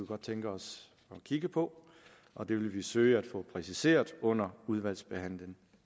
godt tænke os at kigge på og det vil vi søge at få præciseret under udvalgsbehandlingen